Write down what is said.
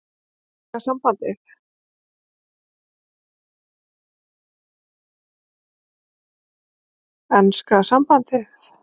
Enska sambandið?